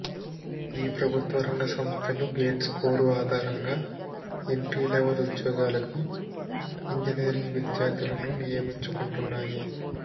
ఈ ప్రభుత్వ రంగ సంస్థలు గేట్ స్కోరు ఆధారంగా ఎంట్రీ లెవల్ ఉద్యోగాలకు ఇంజినీరింగ్ విద్యార్థులను నియమించుకుంటున్నాయి